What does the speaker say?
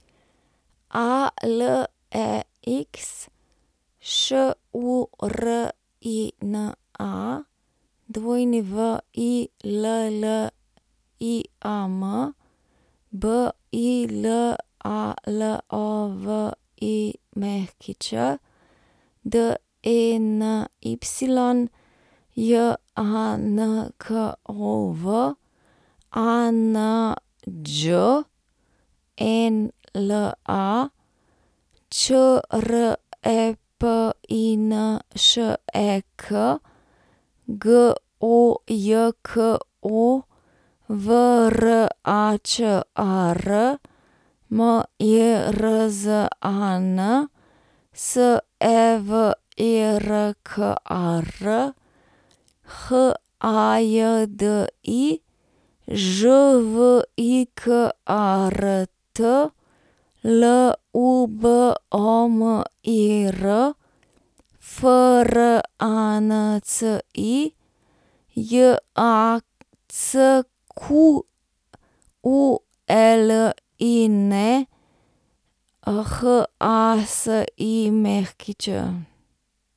Alex Šurina, William Bilalović, Denys Jankov, Anđela Črepinšek, Gojko Vračar, Mirzan Severkar, Hajdi Žvikart, Lubomir Franci, Jacqueline Hasić.